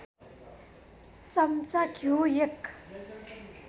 चम्चा घिउ १